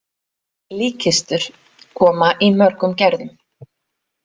Líkkistur koma í mörgum gerðum.